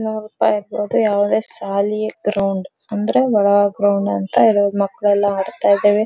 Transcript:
ನೋಡಿಪ ಇರ್ಬಹುದು ಯಾವದೇ ಶಾಲಿ ಗ್ರೌಂಡ್ ಅಂದ್ರೆ ಒಳ ಗ್ರೌಂಡ್ ಅಂತ ಇರೋದು ಮಕ್ಕಳೆಲ್ಲ ಆಡ್ತಾ ಇದ್ದವೇ.